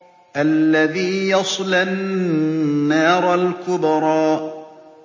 الَّذِي يَصْلَى النَّارَ الْكُبْرَىٰ